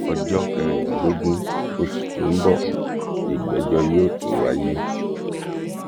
ọjọ kẹrìndínlógún oṣù tó ń bọ nígbẹjọ yóò tún wáyé